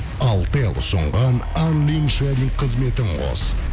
алтел ұсынған қызметін қос